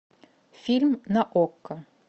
фильм на окко